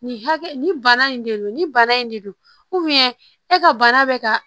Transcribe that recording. Nin hakɛ nin bana in de don ni bana in de don e ka bana bɛ ka